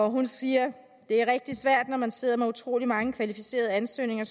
hun siger at det er rigtig svært når man sidder med utrolig mange kvalificerede ansøgninger